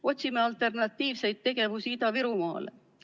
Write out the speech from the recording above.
Me otsime alternatiivseid tegevusi Ida-Virumaale.